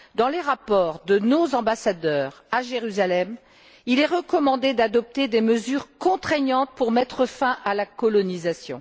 Dans les rapports de nos ambassadeurs à Jérusalem, il est recommandé d'adopter des mesures contraignantes pour mettre fin à la colonisation.